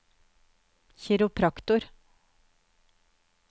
kiropraktorer